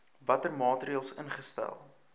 watter maatreëls ingestel